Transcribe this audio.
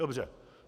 Dobře.